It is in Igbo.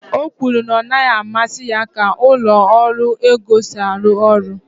o kwuru na ọ naghị amasị ya ka ụlọ ọrụ ego si arụ ọrụ